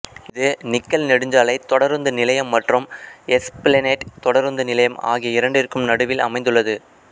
இது நிக்கல் நெடுஞ்சாலை தொடருந்து நிலையம் மற்றும் எஸ்பிளனேட் தொடருந்து நிலையம் ஆகிய இரண்டிற்கும் நடுவில் அமைந்துள்ளது